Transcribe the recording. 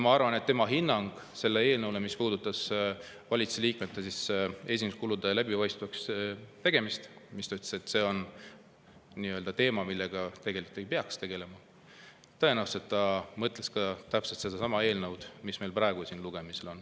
Ma arvan, et andes hinnangut selle kohta, mis puudutab valitsusliikmete esinduskulude läbipaistvaks tegemist, öeldes, et see on teema, millega tegelikult ei peaks tegelema, pidas ta tõenäoliselt silmas sedasama eelnõu, mis meil praegu siin lugemisel on.